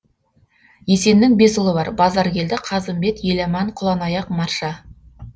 есеннің бес ұлы бар базаркелді қазымбет еламан құланаяқ марша